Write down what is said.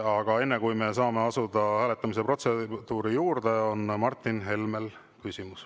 Aga enne, kui me saame asuda hääletamise protseduuri juurde, on Martin Helmel küsimus.